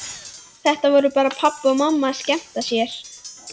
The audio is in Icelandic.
Þetta voru bara pabbi og mamma að skemmta sér.